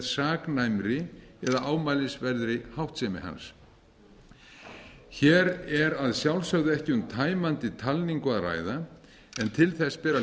saknæmri eða ámælisverðri háttsemi hans hér er að sjálfsögðu ekki um tæmandi talningu að ræða en til þess ber að